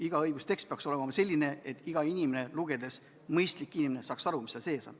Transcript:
Iga õigustekst peaks olema selline, et iga mõistlik inimene saaks lugedes aru, mis seal kirjas on.